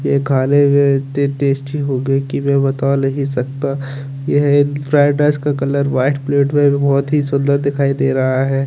ये खाने में इत्ते टेस्टी होंगे कि मैं बता नहीं सकता ये एक fried rice colour white plate में बहुत ही सुन्दर दिखाई दे रहा है।